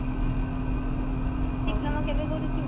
diploma କେବେ କରୁଚୁ